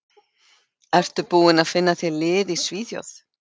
Ertu búinn að finna þér lið í Svíþjóð?